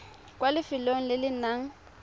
kwa lefelong le le nang